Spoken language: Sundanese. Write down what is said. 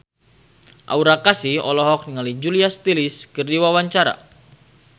Aura Kasih olohok ningali Julia Stiles keur diwawancara